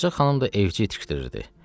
Ağca xanım da evci itişdirirdi.